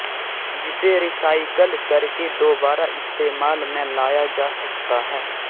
जिसे रिसाइकल करके दोबारा इस्तेमाल में लाया जा सकता है